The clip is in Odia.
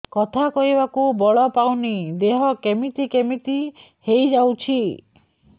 କଥା କହିବାକୁ ବଳ ପାଉନି ଦେହ କେମିତି କେମିତି ହେଇଯାଉଛି